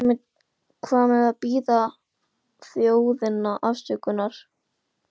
En hvað með að biðja þjóðina afsökunar?